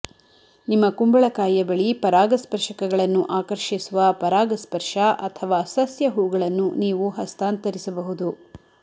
ನಿಮ್ಮ ಕುಂಬಳಕಾಯಿಯ ಬಳಿ ಪರಾಗಸ್ಪರ್ಶಕಗಳನ್ನು ಆಕರ್ಷಿಸುವ ಪರಾಗಸ್ಪರ್ಶ ಅಥವಾ ಸಸ್ಯ ಹೂಗಳನ್ನು ನೀವು ಹಸ್ತಾಂತರಿಸಬಹುದು